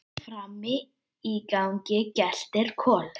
Frammi í gangi geltir Kolur.